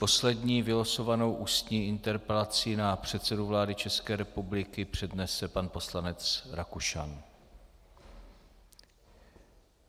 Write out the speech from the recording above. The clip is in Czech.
Poslední vylosovanou ústní interpelací na předsedu vlády České republiky přednese pan poslanec Rakušan.